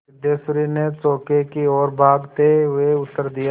सिद्धेश्वरी ने चौके की ओर भागते हुए उत्तर दिया